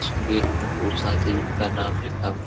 पर उषा देवी का नाम लिखा हुआ है |